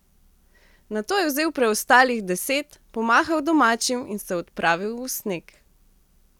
Nato je vzel preostalih deset, pomahal domačim in se odpravil v sneg.